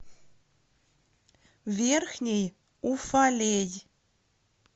верхний уфалей